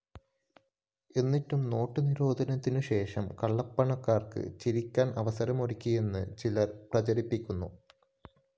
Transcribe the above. എന്നിട്ടും നോട്ട്‌ നിരോധനത്തിനുശേഷം കള്ളപ്പണക്കാര്‍ക്ക് ചിരിക്കാന്‍ അവസരമൊരുങ്ങിയെന്ന് ചിലര്‍ പ്രചരിപ്പിക്കുന്നു